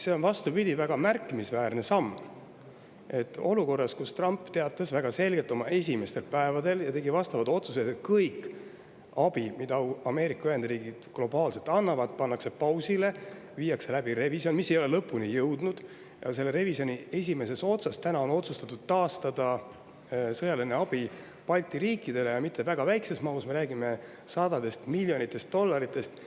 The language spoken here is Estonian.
See on, vastupidi, väga märkimisväärne samm, kui olukorras, kus Trump teatas väga selgelt oma esimestel päevadel ja tegi ka vastavad otsused, et kogu abi, mida Ameerika Ühendriigid globaalselt annavad, pannakse pausile ja viiakse läbi revisjon – mis ei ole lõpule jõudnud –, siis selle revisjoni esimeses otsas otsustatakse taastada sõjaline abi Balti riikidele ja mitte väga väikeses mahus, me räägime sadadest miljonitest dollaritest.